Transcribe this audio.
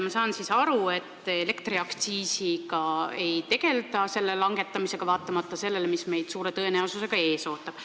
Ma saan siis aru, et elektriaktsiisi langetamisega ei tegelda, vaatamata sellele, mis meid suure tõenäosusega ees ootab.